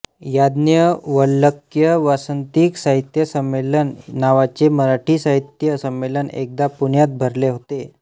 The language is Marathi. याज्ञवल्क्य वासंतिक साहित्य संमेलन नावाचे नराठी साहित्य संमेलन एकदा पुण्यात भरले होते